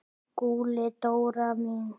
SKÚLI: Dóra mín!